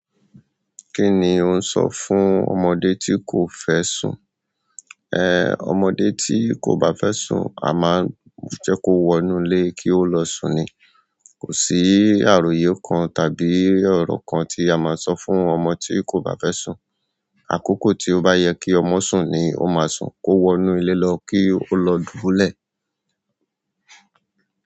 Kí ni ò ń ṣo fún ọmọdé tí kò fẹ́ sùn? Ehn, ọmọdé tí kò bá fẹ́ sùn, a máa ń jẹ́ kó wọnú ilé kí ó lọ sùn ni. Kò sí àròyé kan tàbí ọ̀rọ̀ kan tí a má sọ fún ọmọ tí kò bá fẹ́ sùn. Àkókò tí ó bá yẹ kí ọmọ sùn ni ó máa sùn. Kó wọnú ilé lọ kí ó lọ dúbulẹ̀.